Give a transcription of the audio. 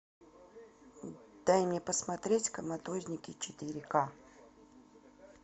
дай мне посмотреть коматозники четыре ка